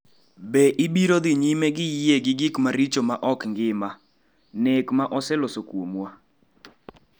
"""Be ibiro dhi nyime gi yie gi gik maricho ma ok ngima, nek ma oseloso kuomwa?"